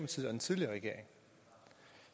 den tidligere regering